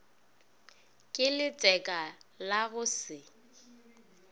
ke letseka la go se